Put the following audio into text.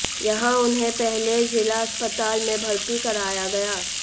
यहां उन्हें पहले जिला अस्पताल में भर्ती कराया गया